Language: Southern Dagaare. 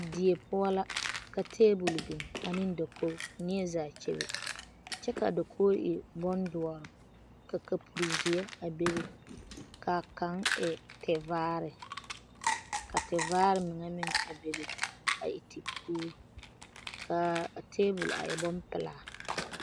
Die poɔ la ka tabol biŋ ane dakori. neɛzaa kyɛbe kyɛ kaa dakori e bon doɔre ka kapuri zeɛ a bebe kaa kaŋ e ti vaare ka ti vaare meŋa meŋ a bebe a e tepuuri kaa a tabol a e bon pelaa